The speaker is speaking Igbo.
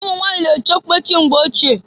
Umunwanyị na echị okpechi mgbe ochie.